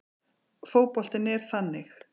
Fótboltinn er þannig